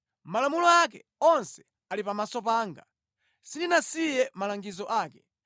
Malamulo ake onse ali pamaso panga, sindinasiye malangizo ake.